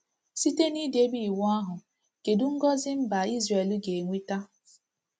Site n’idebe Iwu ahụ, kedu ngọzị mba Izrel ga-enweta?